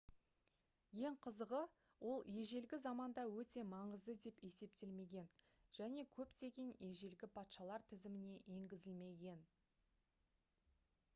ең қызығы ол ежелгі заманда өте маңызды деп есептелмеген және көптеген ежелгі патшалар тізіміне енгізілмеген